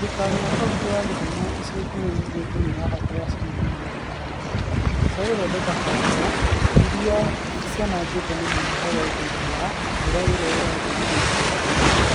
Thirikari ya kaunti ya Kisumu ica ikuhi yugite ni irabatara ciringi mirioni magana mana. Cia guthondeka barabara iria cianangitwo ni muiyuro thutha wa mbura iria irathire ica ikuhi.